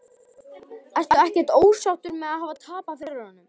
Breki: Ertu ekkert ósáttur með að hafa tapað fyrir honum?